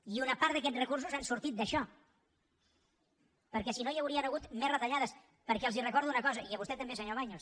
i una part d’aquests recursos han sortit d’això perquè si no hi haurien hagut més retallades perquè els recordo una cosa i a vostè també senyor baños